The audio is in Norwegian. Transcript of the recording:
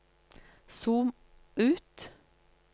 zoom ut